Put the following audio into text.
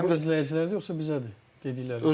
Həm də izləyicilərədir yoxsa bizədir dediklərin?